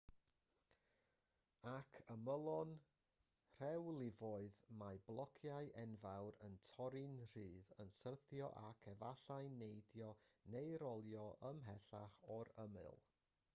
ar ymylon rhewlifoedd mae blociau enfawr yn torri'n rhydd yn syrthio ac efallai'n neidio neu rolio ymhellach o'r ymyl